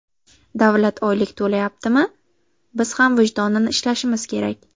Davlat oylik to‘layaptimi, biz ham vijdonan ishlashimiz kerak.